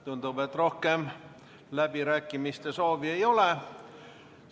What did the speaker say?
Tundub, et rohkem läbirääkimiste soovi ei ole.